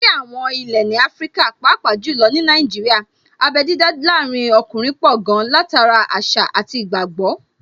Ní àwọn ilé ní Áfríkà, pàápàá jù lọ ní Nàìjíríà, abé dídá láàrin ọkùnrin pọ̀ gan-an, látara àṣà àti ìgbàgbọ́